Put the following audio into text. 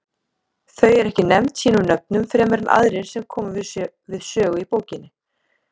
Þau eru ekki nefnd sínum nöfnum fremur en aðrir sem koma við sögu í bókinni.